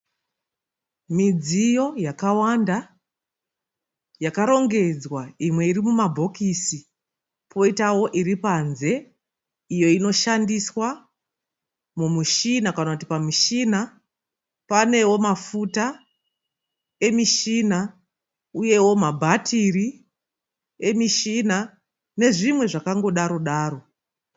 Midziyo yakawanda yakarongedzwa, imwe iri muma bhokisi poitawo iri panze iyo inoshandiswa mumishina kana kuti pamushina. Panewo mafuta emishina uyewo ma bhatiri emishina nezvimwe zvakango daro-daro.